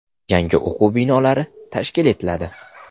Yangi o‘quv binolari tashkil etiladi.